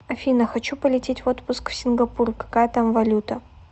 афина хочу полететь в отпуск в сингапур какая там валюта